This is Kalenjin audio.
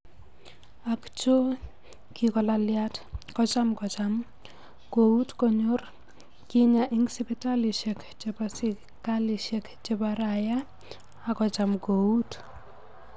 Ak choo kigolalyat kocham kocham kout konyor kinyaa ik sipitalishek cheboo sikalishek chebo rayaa ak kocham kout.